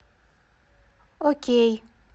окей